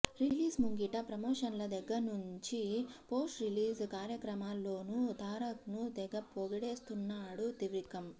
release ముంగిట ప్రమోషన్ల దగ్గర్నుంచి పోస్ట్ రిలీజ్ కార్యక్రమాల్లోనూ తారక్ను తెగ పొగిడేస్తున్నాడు త్రివిక్రమ్